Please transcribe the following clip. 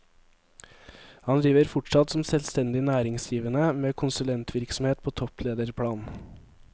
Han driver fortsatt som selvstendig næringsdrivende med konsulentvirksomhet på topplederplan.